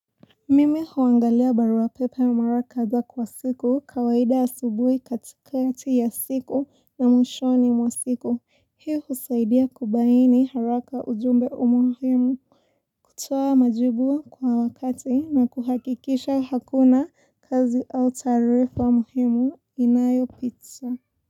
Mimi huangalia barua pepe mara kadhaa kwa siku kawaida asubuhi katikati ya siku na mwishoni mwa siku hii husaidia kubaini haraka ujumbe umuhimu kutoa majibu kwa wakati na kuhakikisha hakuna kazi au taarifa muhimu inayopita.